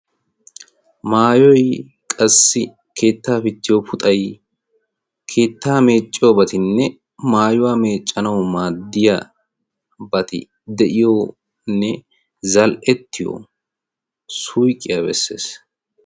maayoy qassi keettaa pittiyo puxay keettaa meecciyobatinne maayuwaa meeccanawu maaddiya bati de'iyonne zal''ettiyo suyqqiyaa bessees